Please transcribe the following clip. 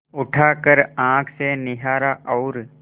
उठाकर आँख से निहारा और